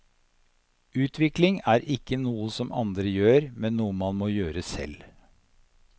Utvikling er ikke noe som andre gjør, men noe man må gjøre selv.